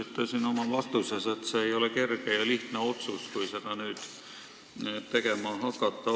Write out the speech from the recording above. Te ütlesite oma vastuses, et see ei ole lihtne otsus, kui seda tuleb nüüd tegema hakata.